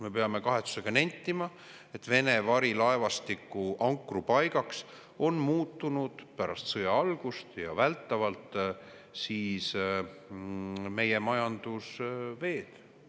Me peame kahetsusega nentima, et meie majandusveed on muutunud pärast sõja algust Vene varilaevastiku ankrupaigaks.